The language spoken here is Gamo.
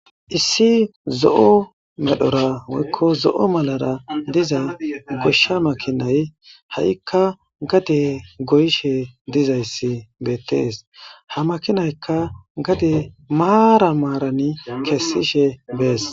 issi zo7o medhora woykko zo7o malara diza goshsha makinay ha7ikka gade goyishe dizayssi beettees ha makinaykka gade maara maarani kessishe bees